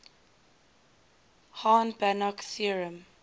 hahn banach theorem